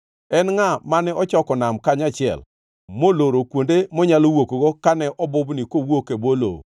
“En ngʼa mane ochoko nam kanyachiel moloro kuonde monyalo wuokgo kane obubni kowuok e bwo lowo?